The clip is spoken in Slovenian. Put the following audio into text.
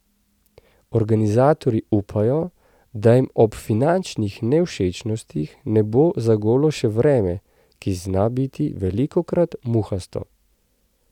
Organizatorji upajo, da jim ob finančnih nevšečnostih ne bo zagodlo še vreme, ki zna biti velikokrat muhasto.